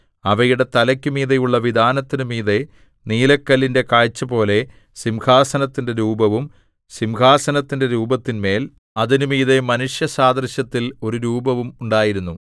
അവയുടെ തലയ്ക്കു മീതെയുള്ള വിതാനത്തിനു മീതെ നീലക്കല്ലിന്റെ കാഴ്ചപോലെ സിംഹാസനത്തിന്റെ രൂപവും സിംഹാസനത്തിന്റെ രൂപത്തിന്മേൽ അതിന് മീതെ മനുഷ്യസാദൃശ്യത്തിൽ ഒരു രൂപവും ഉണ്ടായിരുന്നു